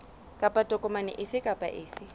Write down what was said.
kapa tokomane efe kapa efe